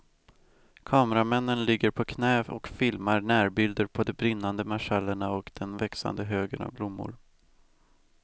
Kameramännen ligger på knä och filmar närbilder på de brinnande marschallerna och den växande högen av blommor.